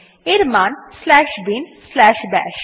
এর মান slash bin slash বাশ